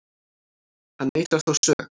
Hann neitar þó sök